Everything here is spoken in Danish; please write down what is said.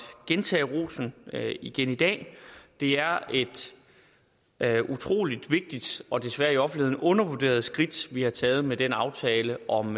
gentage rosen igen i dag det er et utrolig vigtigt og desværre i offentligheden undervurderet skridt vi har taget med den aftale om